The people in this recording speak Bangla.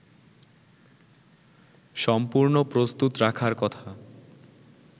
সম্পূর্ণ প্রস্তুত রাখার কথা